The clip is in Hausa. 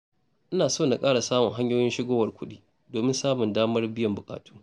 Ina so na ƙara samun hanyoyin shigowar kuɗi, domin samun damar biyan buƙatu.